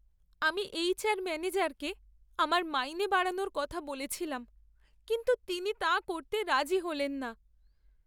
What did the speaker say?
আমি এইচআর ম্যানেজারকে আমার মাইনে বাড়ানোর কথা বলেছিলাম কিন্তু তিনি তা করতে রাজি হলেন না।